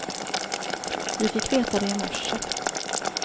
Vi fick veta det i morse.